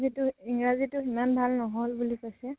ইংৰাজী টো ইমান ভাল নহল বুলি কৈছে।